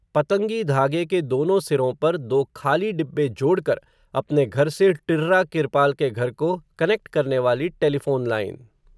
पतंगी धागे के दोनों सिरों पर, दो खाली डिब्बे जोड़कर, अपने घर से टिर्रा किरपाल के घर को, कनेक्ट करने वाली टेलिफ़ोन लाइन